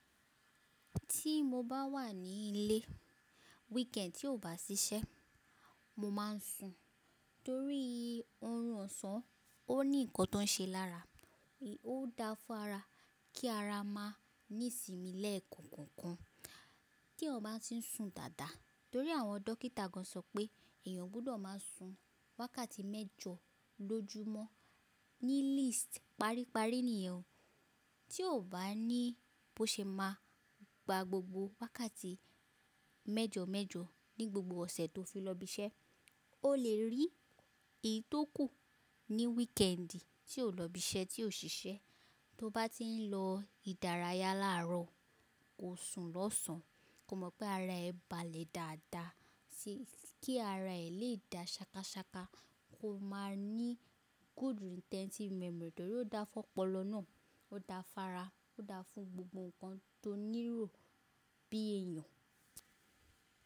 Tí mo bá wà ní ilé weekend tí ò bá ṣiṣẹ́, mo má ń sùn torí oorun ọ̀sán. Ó ní nǹkan tó ń ṣe lára. Ó da fún ara kí ara má ní ìsinmi lẹ́ẹ̀kan kan kan. Kí eeyan bá ń tí ń sùn dáadáa torí àwọn dókítà gan sọ pé èèyàn gbọ́dọ̀ má a sùn wákàtí mẹ́jọ lọjúmọ́ ní least paripari niyen. Tí ò bá ní bó ṣe má a gba gbogbo wákàtí mẹ́jọ mẹ́jọ ní gbogbo ọ̀sẹ̀ tó fi lọ ibi iṣẹ́, o lè rí èyí tó kù ní weekend tí o lọ ibi iṣẹ́ tí o ṣiṣẹ́. Tó bá ti ń lọ ìdárayá láàárọ̀, kó sùn lọ́sàn án. Ko mọ̀ pé ara ẹ bà lé dáadáa si. Kí ara ẹ lè da ṣákaṣáka, kó má a ní good intensive memory torí ó da fún ọpọlọ náà, ó da fún ara, ó da fún gbogbo nǹkan tó nílò bí èèyàn.